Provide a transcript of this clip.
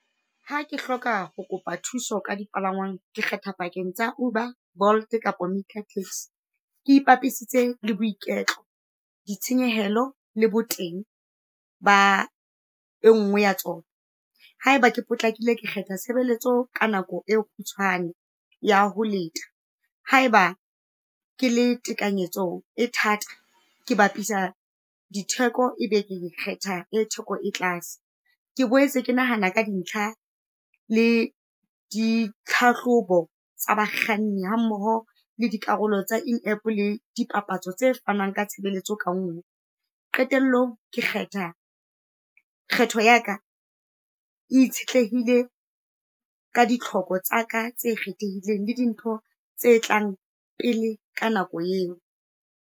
Ha ke hloka ho kopa thuso ka dipalangwang, ke kgetha pakeng tsa Uber, Bolt-e kapa Ke ipapisitse le boiketlo, ditshenyehelo, le bo teng ba e ngwe ya tsona ha eba ke potlakile, kgetha tshebeletso ka nako e kgutshwane ya ho leta. Ha eba ke le tekanyetso e thata, ke bapisa ditheko e be ke kgetha e theko e tlase. Ke boetse ke nahana ka dintlha le ditlhahlobo tsa bakganni ha mmoho le dikarolo tsa in App, le di papatso tse fanang ka tshebeletso ka Qetellong, ke kgetha, kgetho ya ka itshetlehile ka ditlhoko tsa ka tse kgethehileng le dintho tse tlang pele ka nako eo.